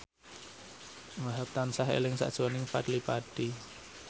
Wahhab tansah eling sakjroning Fadly Padi